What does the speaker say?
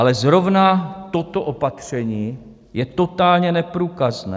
Ale zrovna toto opatření je totálně neprůkazné.